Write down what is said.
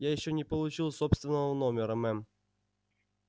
я ещё не получил собственного номера мэм